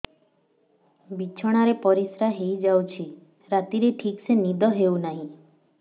ବିଛଣା ରେ ପରିଶ୍ରା ହେଇ ଯାଉଛି ରାତିରେ ଠିକ ସେ ନିଦ ହେଉନାହିଁ